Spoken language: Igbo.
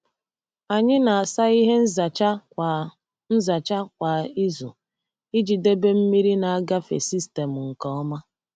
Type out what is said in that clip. Anyị na-asa ihe nzacha kwa nzacha kwa izu iji debe mmiri na-agafe sistemụ nke ọma.